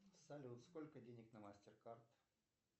салют сколько денег на мастеркард